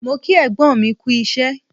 Mo kí ẹ̀gbọ́n mi kú isẹ́